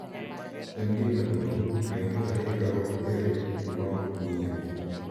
En gima duong’ ng’eyo ni ohinga ok bed ma ok ng’iyo;